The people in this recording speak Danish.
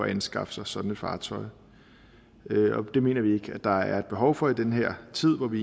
at anskaffe sig sådan et fartøj og det mener vi ikke at der er et behov for i den her tid hvor vi